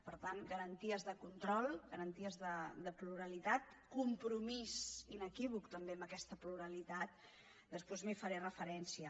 per tant garanties de control garanties de pluralitat compromís inequívoc també en aquesta pluralitat després hi faré referència